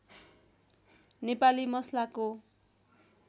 नेपाली मसलाको